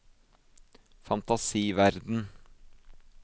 fantasiverden